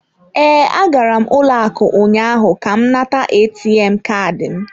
Ee, agara m ụlọ akụ ụnyaahụ ka m nata ATM Kaadị m.